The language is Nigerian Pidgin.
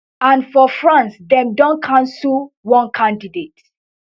and for france dem don cancell one candidate